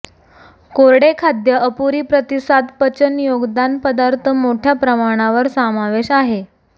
कोरडे खाद्य अपुरी प्रतिसाद पचन योगदान पदार्थ मोठ्या प्रमाणावर समावेश आहे